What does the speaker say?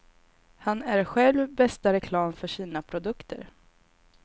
Han är själv bästa reklam för sina produkter.